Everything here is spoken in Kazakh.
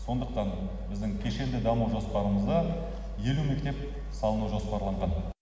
сондықтан біздің кешенді даму жоспарымызда елу мектеп салыну жоспарланған